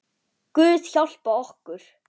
Guð hjálpi okkur.